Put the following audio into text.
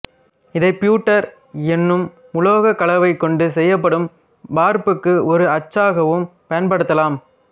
இதை பியூட்டர் என்னும் உலோகக் கலவை கொண்டு செய்யப்படும் வார்ப்புக்கு ஒரு அச்சாகவும் பயன்படுத்தலாம்